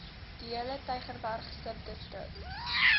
diehele tygerberg subdistrik